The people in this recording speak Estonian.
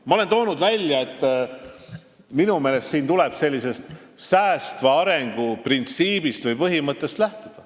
Ma olen toonud välja, et minu meelest tuleb siin lähtuda säästva arengu printsiibist või põhimõttest.